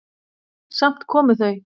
Samt komu þau.